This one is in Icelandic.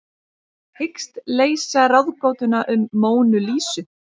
Hyggst leysa ráðgátuna um Mónu Lísu